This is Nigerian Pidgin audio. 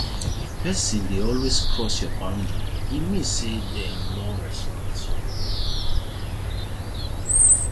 if pesin dey always cross your boundary e mean say dem no respect you